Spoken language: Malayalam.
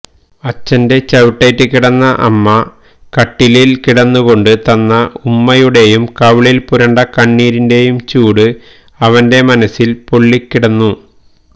അച്ഛന്റെ ചവിട്ടേറ്റ് കിടന്ന അമ്മ കട്ടിലിൽ കിടന്നുകൊണ്ട് തന്ന ഉമ്മയുടെയും കവിളിൽ പുരണ്ട കണ്ണീരിന്റെയും ചൂട് അവന്റെ മനസ്സിൽ പൊളളിക്കിടന്നു